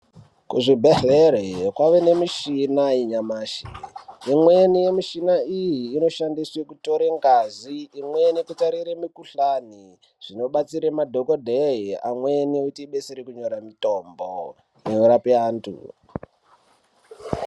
Kuzvibhedhlera kwava nemichina yanyamashi imweni yemuchina iyi inoshandiswa kutore ngazi imweni kutarire mukuhlani zvinobatsire madhokodheya amweni kuti idetsere kunyora mutombo inorape antu.